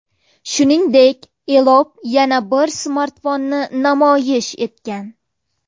Shuningdek, Elop yana bir smartfonni namoyish etgan.